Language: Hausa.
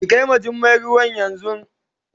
Ki kai ma Jummai ruwan yanzu.